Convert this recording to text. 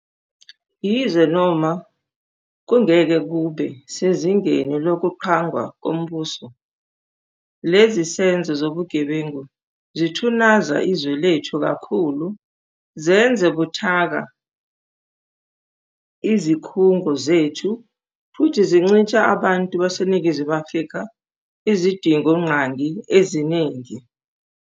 Yize noma kungeke kube sezingeni lokuqhwagwa kombuso, lezi zenzo zobugebengu zithunaza izwe lethu kakhulu, zenze buthaka izikhungo zethu futhi zincisha abantu baseNingizimu Afrika izidingongqangi eziningi.